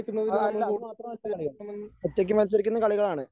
അല്ല അത് മാത്രമല്ല കളികൾ ഒറ്റയ്ക്ക് മത്സരിക്കുന്ന കളികളാണ്.